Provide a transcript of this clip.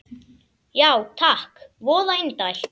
Já takk, voða indælt